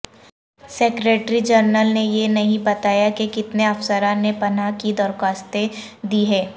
secretary general نے یہ نہیں بتایا کہ کتنے افسران نے پناہ کی درخواستیں دی ہیں